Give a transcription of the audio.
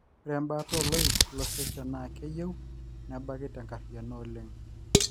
ore embaata oloik losesen naa keyieu nebaki tenkariano oleng